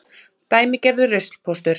Dæmigerður ruslpóstur.